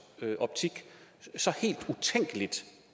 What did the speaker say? optik så helt utænkeligt